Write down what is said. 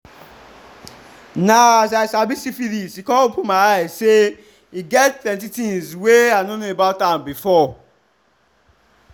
na as i sabi syphilis e come open my eyes say e get plenty things were i no know about am before